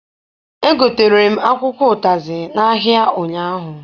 Egotere m akwụkwọ ụtazị n'ahịa ụnyaahụ.